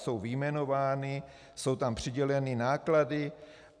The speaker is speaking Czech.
Jsou vyjmenovány, jsou tam přiděleny náklady.